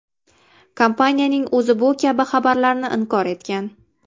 Kompaniyaning o‘zi bu kabi xabarlarni inkor etgan.